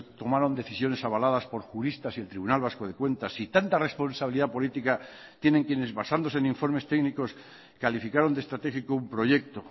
tomaron decisiones avaladas por juristas y el tribunal vasco de cuentas si tanta responsabilidad política tienen quienes basándose en informes técnicos calificaron de estratégico un proyecto